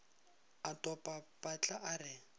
a topa patla a re